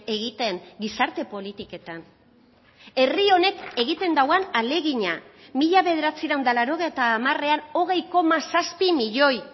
egiten gizarte politiketan herri honek egiten duen ahalegina mila bederatziehun eta laurogeita hamarean hogei koma zazpi milioi